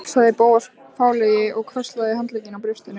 Sæll sagði Bóas fálega og krosslagði handleggina á brjóstinu.